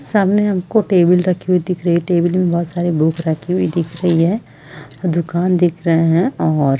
सामने हमको टेबल रखी हुई दिख रही है टेबल में बहुत सारे बुक रखी हुई दिख रही है दुकान दिख रहे हैं और --